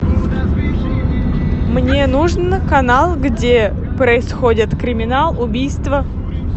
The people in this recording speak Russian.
мне нужен канал где происходит криминал убийства